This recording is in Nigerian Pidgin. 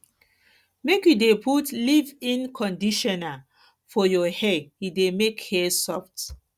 make you dey put leavein conditioner for conditioner for your hair e dey make hair soft